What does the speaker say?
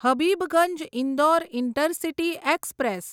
Habibganj Indore intercity express